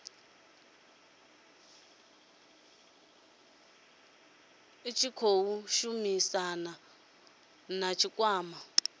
tshi khou shumisaniwa na tshikwama